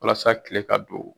Walasa kile ka don.